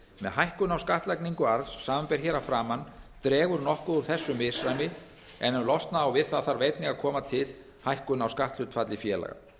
hækkun á skattlagningu arðs samanber hér að framan dregur nokkuð úr þessu misræmi en ef losna á við það þarf einnig að koma til hækkun á skatthlutfalli félaga